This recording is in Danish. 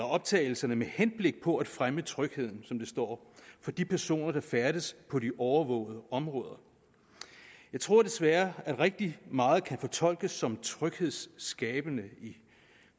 optagelserne med henblik på at fremme trygheden som der står for de personer der færdes på de overvågede områder jeg tror desværre at rigtig meget kan fortolkes som tryghedsskabende i